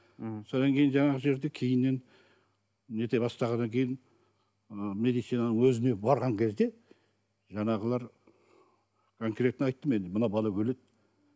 м содан кейін жаңағы жерде кейіннен нете бастағаннан кейін ы медицинаның өзіне барған кезде жаңағылар конкретно айттым енді мына бала өледі